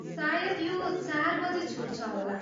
सायद यो चार बजी छुट्छ होला।